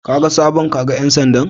Kaga sabon kaga ƴan sandan?